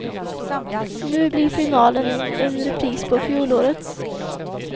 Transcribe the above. Nu blir finalen en repris på fjolårets.